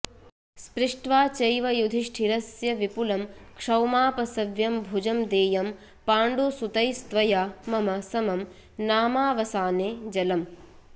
स्पृष्ट्वा चैव युधिष्ठिरस्य विपुलं क्षौमापसव्यं भुजं देयं पाण्डुसुतैस्त्वया मम समं नामावसाने जलम्